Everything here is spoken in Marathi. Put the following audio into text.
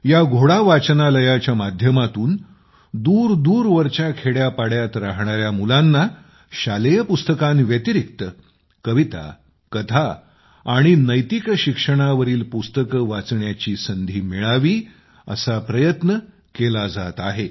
या घोडा वाचनालयाच्या माध्यमातून दुरदूरवरच्या खेड्यापाड्यात राहणाऱ्या मुलांना शालेय पुस्तकांव्यतिरिक्त कविता कथा आणि नैतिक शिक्षणावरील पुस्तके वाचण्याची संधी पूर्णपणे मिळावी असा प्रयत्न केला जात आहे